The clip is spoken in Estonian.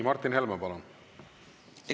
Martin Helme, palun!